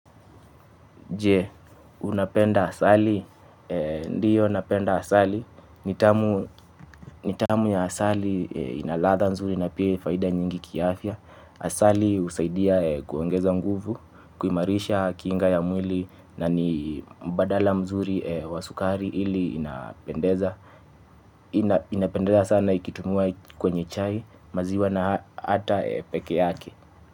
Je, unapenda asali. Ndiyo napenda asali. Nitamu ya asali inaladha nzuri na pia faida nyingi kiafya. Asali husaidia kuongeza nguvu, kuimarisha kinga ya mwili na ni mbadala mzuri wa sukari ili inapendeza. Inapendeza sana ikitumiwa kwenye chai maziwa na hata peke yake.